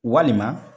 Walima